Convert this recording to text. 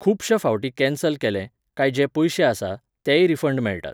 खुबश्या फावटीं कॅन्सल केले, काय जे पयशे आसा, तेय रिफंड मेळटात.